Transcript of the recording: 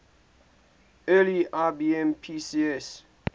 early ibm pcs